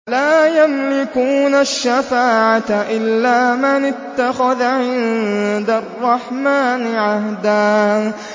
لَّا يَمْلِكُونَ الشَّفَاعَةَ إِلَّا مَنِ اتَّخَذَ عِندَ الرَّحْمَٰنِ عَهْدًا